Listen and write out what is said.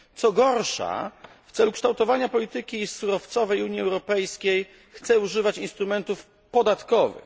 Co gorsza, w celu kształtowania polityki surowcowej Unii Europejskiej chce używać instrumentów podatkowych.